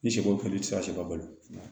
Ni sɛ ko kɛli i ti se ka sɛ ka balo